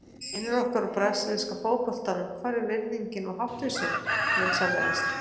Vinir okkar úr brasilíska fótboltanum, hvar er virðingin og háttvísin, vinsamlegast?